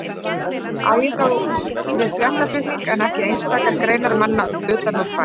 Á ég þá við fréttaflutning en ekki einstakar greinar manna utan úr bæ.